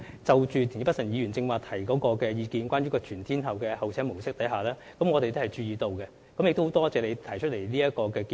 就田北辰議員剛才提出的全天候候車模式，我們亦有注意到，並很感謝你提出這個建議。